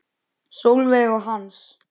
Sólveig og Hans.